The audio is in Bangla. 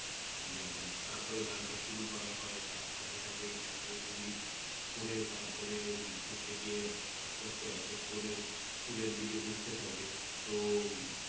দেয় তারপরে গানটা শুরু করা হয় তার সাথে সাথে এই জাতীয় সংগীত করে তারপরে হচ্ছে গিয়ে আস্তে আস্তে এক এক করে School এর দিকে ঢুকতে থাকে তো